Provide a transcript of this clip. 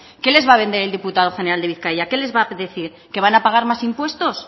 qué les va a vender el diputado general de bizkaia qué les va a decir que van a pagar más impuestos